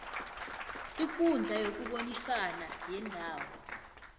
ikundla yokubonisana yendawo